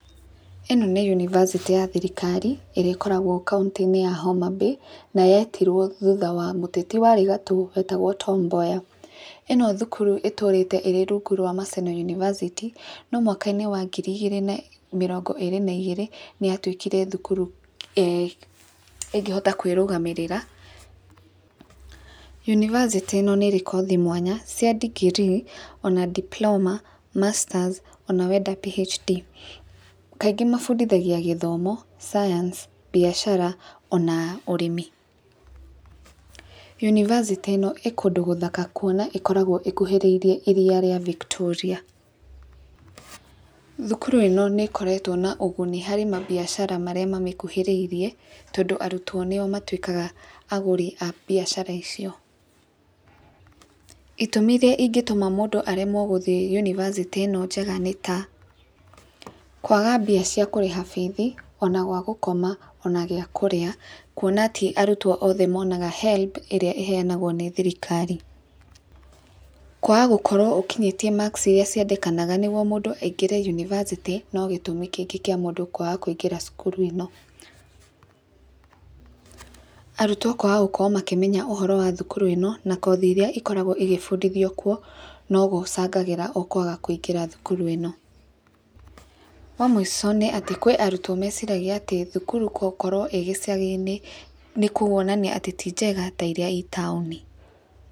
Ĩno nĩ yunibacĩtĩ ya thirikari ĩrĩa ĩkoragwo kauntĩ-inĩ ya Homabay, na yetirwo thuta wa mũteti warĩ gatũ wetagwo Tom Mboya. ĩno thukuru itũrĩte ĩrĩ rungu rwa Maseno university , no mwaka-inĩ wa ngiri igĩrĩ na mĩrongo ĩrĩ na igĩrĩ, nĩ yatuĩkire thukuru eeh ĩngĩhota kwĩrũgamĩrĩra. yunibacĩtĩ ĩno nĩ ĩrĩ kothi mwanya mwanya cia degree ona diploma, masters ona wenda PHD. Kaingĩ mabundithagia gĩthomo, science, mbiacara ona ũrĩmi. yunibacĩtĩ ĩno ĩ kũndũ gũthaka kuona ĩkoragwo ĩkuhĩrĩirie iria ria Victoria. Thukuru ĩno nĩ ĩkoretwo na ũguni harĩ mambiacara marĩa mamĩkuhĩrĩirie tondũ arutwo nĩo matuĩkaga agũri a mbiacara icio. Itũmi iria ingĩtũma mũndũ aremwo gũthiĩ yunibacĩtĩ ĩno njega nĩ ta; kwaga mbia cia kũrĩha bithi, ona gwa gũkoma ona gĩa kũrĩa, kuona ti arutwo othe monaga HELB ĩrĩa ĩheanagwo nĩ thirikari, kwaga gũkorwo ũkinyĩtie marks iria ciendekanga nĩguo mũndũ aingĩre yunibacĩtĩ no gĩtũmi kĩngĩ kĩa mũndũ kwaga kũingĩra cukuru ĩno. Arutwo kwaga gũkorwo makĩmenya ũhoro wa thukuru ĩno, na kothi iria ikoragwo igĩbundithio kuo, no gũcangagĩra o kwaga kũingĩra thukuru ĩno. Wa mũico nĩ atĩ kwĩ arutwo meciragia atĩ thukuru gũkorwo ĩ gĩcagi-inĩ nĩ kuonania atĩ ti njega ta iria i taũni.